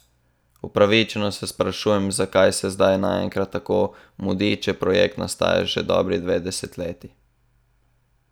Upravičeno se sprašujemo, zakaj se zdaj kar naenkrat tako mudi, če projekt nastaja že dobri dve desetletji?